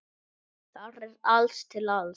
Þar er allt til alls.